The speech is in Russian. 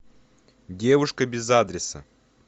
девушка без адреса